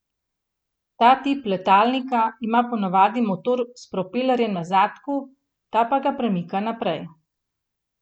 Ta tip letalnika ima po navadi motor s propelerjem na zadku, ta pa ga premika naprej.